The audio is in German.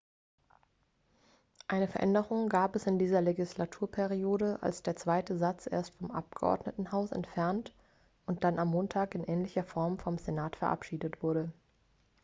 eine veränderung gab es in dieser legislaturperiode als der zweite satz erst vom abgeordnetenhaus entfernt und dann am montag in ähnlicher form vom senat verabschiedet wurde